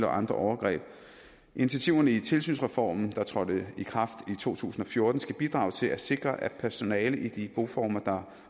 og andre overgreb initiativerne i tilsynsreformen der trådte i kraft i to tusind og fjorten skal bidrage til at sikre at personale i de boformer der